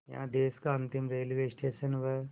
यहाँ देश का अंतिम रेलवे स्टेशन व